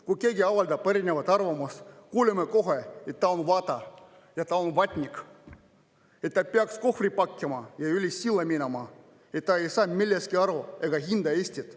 Kui keegi avaldab erinevat arvamust, kuuleme kohe, et ta on vata ja ta on vatnik, et ta peaks kohvrid pakkima ja üle silla minema, et ta ei saa millestki aru ega hinda Eestit.